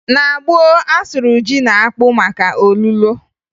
Na gboo, a sụrụ ji na akpụ maka olulo